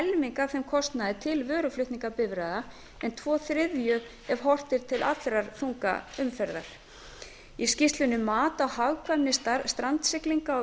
af þeim kostnaði til vöruflutningabifreiða en tvo þriðju ef horft er til allrar þungaumferðar í skýrslunni mat á hagkvæmni strandsiglingar á